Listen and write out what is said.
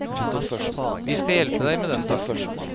Vi skal hjelpe deg med den saken.